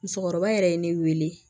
Musokɔrɔba yɛrɛ ye ne wele